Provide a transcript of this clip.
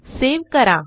save करा